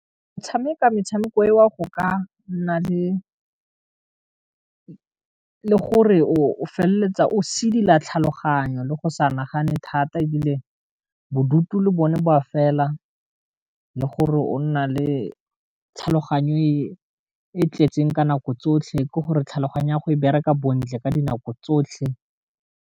Tshameka metshameko eo go ka nna le gore o feleletsa o sedila tlhaloganyo le go sa nagane thata e bile o bodutu le bone ba fela, le gore o nna le tlhaloganyo e tletseng ka nako tsotlhe ke gore tlhaloganya go e bereka bontle ka dinako tsotlhe.